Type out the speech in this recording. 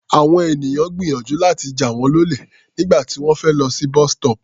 Àwọn ènìyàn gbìyànjú láti jà wọ́n lólè nígbà tí wọ́n fẹ́ lọ sí bus-stop.